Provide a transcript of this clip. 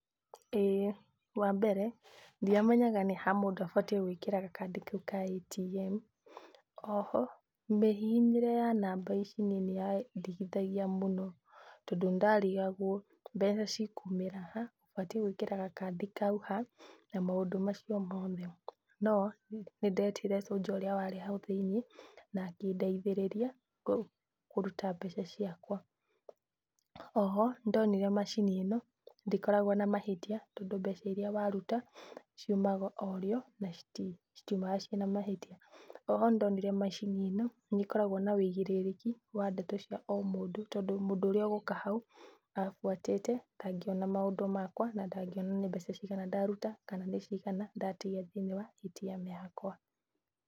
Ĩĩ. Wambere, ndiamenyaga nĩha mũndũ abatiĩ gwĩkĩra gakandi kau ka ATM. Oho mĩhihinyĩre ya namba ici niĩ nĩyandigithagia mũno, tondũ nĩndarigagwo mbeca cikumĩra ha, ũbatiĩ gwĩkĩra ga kandi kau ha, na maũndũ macio mothe. No nĩndetire soldier ũrĩa warĩ hau thĩiniĩ, na akĩndeithĩrĩria kũruta mbeca ciakwa. Oho nĩndonire macini ĩno ndĩkoragwo na mahĩtia, tondũ mbeca iria waruta ciumaga orĩo na citiumga ciĩna mahĩtia. Oho nĩndonire macini ĩno, nĩkoragwo na wĩigĩrĩrĩki wa ndeto cia o mũndũ, tondũ mũndũ ũrĩa ũgũka hau abuatĩte, ndangĩona maũndũ makwa na ndangĩona nĩ mbeca cigana ndaruta kana nĩ cigana ndatigia thĩiniĩ wa ATM yakwa.